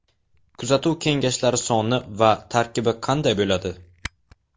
Kuzatuv kengashlari soni va tarkibi qanday bo‘ladi?